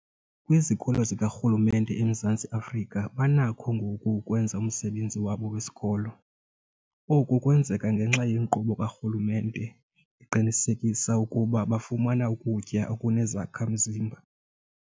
Kwizikolo zikarhulumente eMzantsi Afrika banakho ngoku ukwenza umsebenzi wabo wesikolo. Oku kwenzeka ngenxa yenkqubo karhulumente eqinisekisa ukuba bafumana ukutya okunezakha-mzimba.